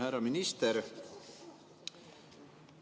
Härra minister!